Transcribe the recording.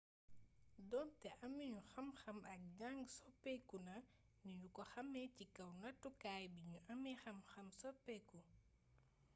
donté aminu xamxam ak jàng soppékuna ni niñu ko xamé ci kaw nattukaay bi ñuy amé xamxam soppeeku